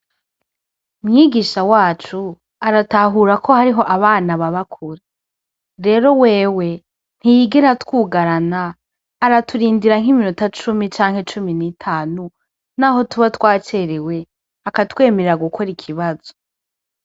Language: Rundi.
Mwigisha wacu aratahura ko hariho abana baba kure. Rero wewe ntiyigera atwugarana aratundirira nk'iminota cumi canke cumi n'itanu, naho tuba twacerewe akatwemerera gukora ikibazo.